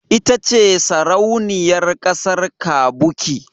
Ita ce Sarauniyar kasar kavuki.